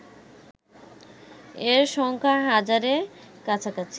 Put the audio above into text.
এর সংখ্যা হাজারের কাছাকাছি